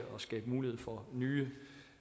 skabe mulighed for nye